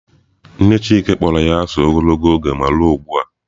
Nne chike kpọrọ ya asị ogologo oge ma ruo ụgbua.